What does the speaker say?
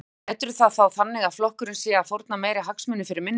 Björn: Meturðu það þá þannig að flokkurinn sé að fórna meiri hagsmunum fyrir minni?